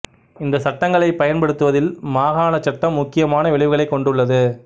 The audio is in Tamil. இந்த சட்டங்களைப் பயன்படுத்துவதில் மாகாணச் சட்டம் முக்கியமான விளைவுகளைக் கொண்டுள்ளது